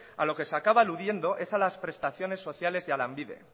a lo que se acaba aludiendo es a las prestaciones sociales y a lanbide